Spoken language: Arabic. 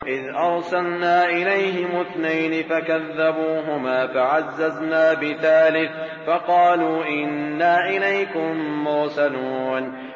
إِذْ أَرْسَلْنَا إِلَيْهِمُ اثْنَيْنِ فَكَذَّبُوهُمَا فَعَزَّزْنَا بِثَالِثٍ فَقَالُوا إِنَّا إِلَيْكُم مُّرْسَلُونَ